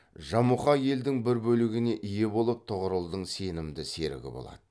жамұха елдің бір бөлігіне ие болып тұғырылдың сенімді серігі болады